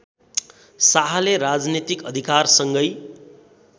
शाहले राजनीतिक अधिकारसँगै